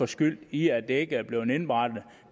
skyld i at det ikke er blevet indberettet